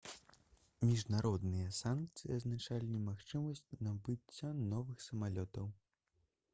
міжнародныя санкцыі азначалі немагчымасць набыцця новых самалётаў